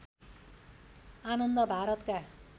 आनन्द भारतका